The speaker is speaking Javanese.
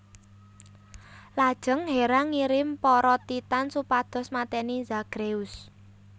Lajeng Hera ngirim para Titan supados mateni Zagreus